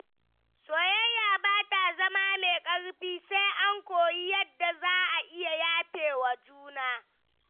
Soyayya ba ta zama mai ƙarfi sai an koyi yadda za a iya yafewa juna.